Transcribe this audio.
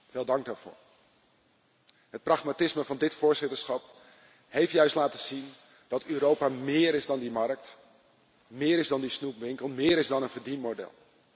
Veel dank daarvoor. Het pragmatisme van dit voorzitterschap heeft juist laten zien dat Europa meer is dan die markt, meer is dan die snoepwinkel, meer is dan een verdienmodel.